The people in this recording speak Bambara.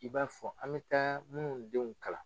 I b'a fɔ an bɛ taa minnu denw kalan